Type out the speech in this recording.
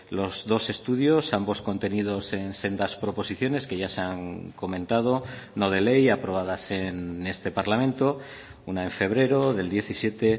los dos estudios ambos contenidos en sendas proposiciones que ya se han comentado no de ley aprobadas en este parlamento una en febrero del diecisiete